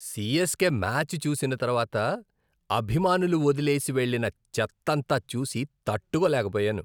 CSK match చూసిన తర్వాత, అభిమానులు వదిలేసి వెళ్లిన చెత్తంతా చూసి తట్టుకోలేకపోయాను.